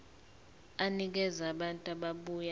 enikeza abantu ababuya